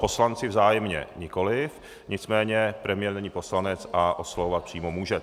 Poslanci vzájemně nikoliv, nicméně premiér není poslanec a oslovovat přímo může.